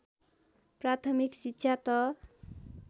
प्राथमिक शिक्षा त